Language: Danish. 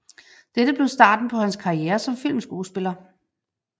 Dette blev starten på hans karriere som filmskuespiller